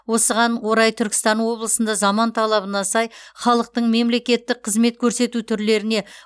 осыған орай түркістан облысында заман талабына сай халықтың мемлекеттік қызмет көрсету түрлеріне